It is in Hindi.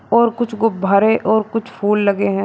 और कुछ गुब्बारे और कुछ फूल लगे हैं।